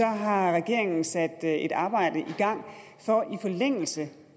har regeringen sat et arbejde i gang i forlængelse